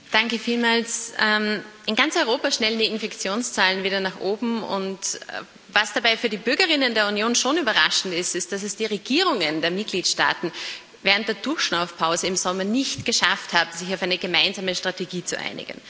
Herr Präsident! In ganz Europa schnellen die Infektionszahlen wieder nach oben. Was dabei für die Bürger innen der Union schon überraschend ist, ist, dass es die Regierungen der Mitgliedstaaten während der Durchschnaufpause im Sommer nicht geschafft haben, sich auf eine gemeinsame Strategie zu einigen.